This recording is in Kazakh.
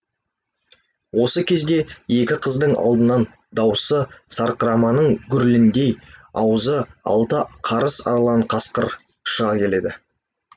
осы кезде екі қыздың алдынан дауысы сарқыраманың гүріліндей азуы алты қарыс арлан қасқыр шыға келеді